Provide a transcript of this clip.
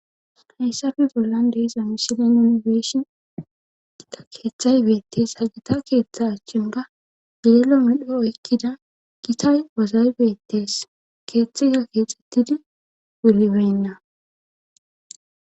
Heyssafe bollan deesa misidan yunifeshin etika keeththay beettes hagita keeththa achchin ga geelo midho ykkida gitay wozay beettes keeththiza keexettidi ulibenna